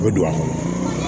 A bɛ don a kɔrɔ